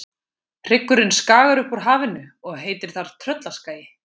Hryggurinn skagar upp úr hafinu og heitir þar Tröllaskagi.